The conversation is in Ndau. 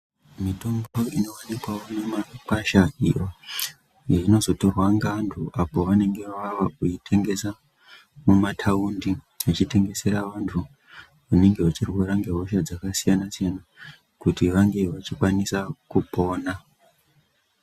Mitombo inooneke mumagwasha inozotorwe ngeandu pavanenge vava kuitengesa mumataundi ichitengeserwa vandu vanenge vachirwara ngehosha dzakasiyana siyana kuti vange vachikwanisa kupona.